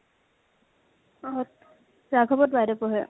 অ । ৰাঘবত বাইদেও পঢ়ে ।